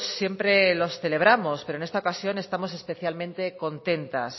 siempre los celebramos pero en esta ocasión estamos especialmente contentas